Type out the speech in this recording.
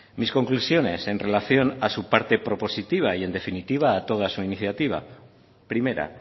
mis conclusiones en relación a su parte propositiva y en definitiva a toda su iniciativa primera